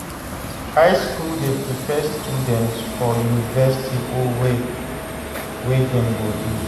High school de prepare students for university or work wey dem go do